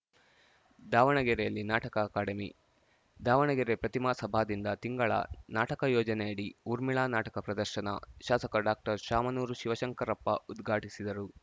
ದಾವಣಗೆರೆಯಲ್ಲಿ ನಾಟಕ ಅಕಾಡೆಮಿ ದಾವಣಗೆರೆ ಪ್ರತಿಮಾ ಸಭಾದಿಂದ ತಿಂಗಳ ನಾಟಕ ಯೋಜನೆಯಡಿ ಊರ್ಮಿಳಾ ನಾಟಕ ಪ್ರದರ್ಶನ ಶಾಸಕ ಡಾಕ್ಟರ್ ಶಾಮನೂರು ಶಿವಶಂಕರಪ್ಪ ಉದ್ಘಾಟಿಸಿದರು